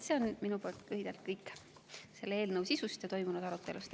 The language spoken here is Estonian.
See on minu poolt lühidalt kõik eelnõu sisust ja toimunud arutelust.